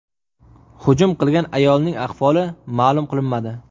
Hujum qilgan ayolning ahvoli ma’lum qilinmadi.